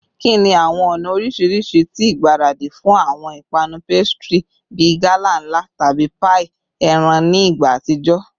Kini awọn ọna oriṣiriṣi ti igbaradi fun awọn ipanu pastry bi gala nla tabi paii eran ni igba atijọ?